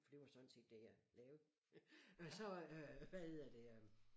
For det var sådan set det jeg lavede og så øh hvad hedder det øh